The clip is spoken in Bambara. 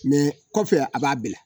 Mɛ kɔfɛ a b'a bila